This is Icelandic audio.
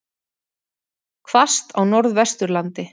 Hvasst á Norðvesturlandi